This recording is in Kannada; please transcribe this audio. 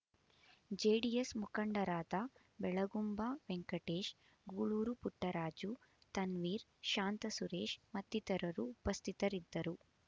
ಜೆಡಿಎಸ್ ಮುಖಂಡರಾದ ಬೆಳಗುಂಬ ವೆಂಕಟೇಶ್ ಗೂಳೂರು ಪುಟ್ಟರಾಜು ತನ್ವೀರ್ ಶಾಂತಸುರೇಶ್ ಮತ್ತಿತರರು ಉಪಸ್ಥಿತರಿದ್ದರು